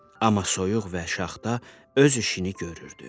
Amma soyuq və şaxta öz işini görürdü.